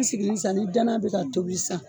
I sigilen ni san ni dana bɛ ka tobi san